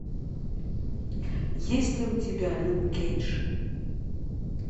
есть ли у тебя люк кейдж